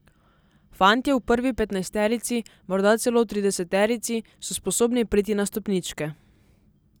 Fantje v prvi petnajsterici, morda celo trideseterici, so sposobni priti na stopničke.